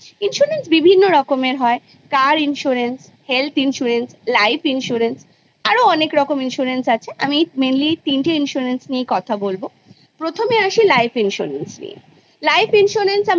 insurance বিভিন্ন রকমের হয় car insurance , health insurance, life insurance আরো অনেক রকম আছে আমি mainly তিনটে insurance ? নিয়ে কথা বলব Iপ্রথমে আসি life insurance এ life insurance আমরা কেন করি?